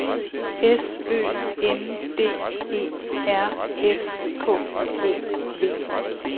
S Ø N D E R S K O V